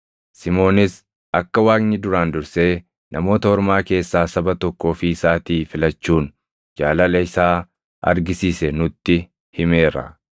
Simoonis akka Waaqni duraan dursee Namoota Ormaa keessaa saba tokko ofii isaatii filachuun jaalala isaa argisiise nutti himeera.